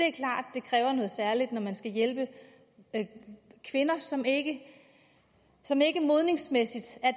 det kræver noget særligt når man skal hjælpe kvinder som ikke som ikke modenhedsmæssigt